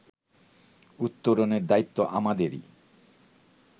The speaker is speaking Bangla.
উত্তরণের দায়িত্ব আমাদেরই